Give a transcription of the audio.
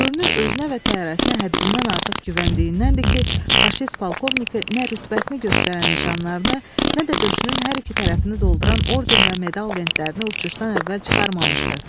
Görünür, özünə və təyyarəsinə həddindən artıq güvəndiyindənndir ki, faşist polkovniki nə rütbəsini göstərən nişanlarını, nə də döşünün hər iki tərəfini dolduran orden və medal lentlərini uçuşdan əvvəl çıxarmamışdı.